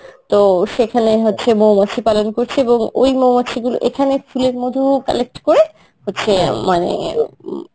তো সেখানেই হচ্ছে মৌমাছি পালন করছে এবং ওই মৌমাছি গুলো এখানে ফুলের মধূ collect করে হচ্ছে মানে উম